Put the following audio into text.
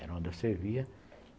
Era onde eu servia.